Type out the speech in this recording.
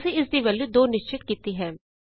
ਅਸੀਂ ਇਸਦੀ ਵੈਲਯੂ 2 ਨਿਸ਼ਚਿਤ ਕੀਤੀ ਹੈ